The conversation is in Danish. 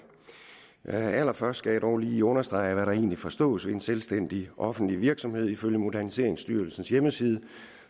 allerførst skal jeg dog lige understrege hvad der egentlig forstås ved en selvstændig offentlig virksomhed ifølge moderniseringsstyrelsens hjemmeside